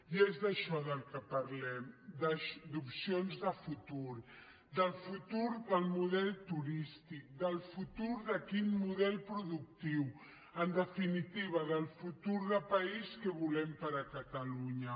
i és d’això del que parlem d’opcions de futur del futur del model turístic del futur de quin model productiu en definitiva del futur de país que volem per a catalunya